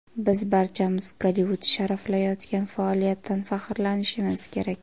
Biz barchamiz Gollivud sharaflayotgan faoliyatdan faxrlanishimiz kerak.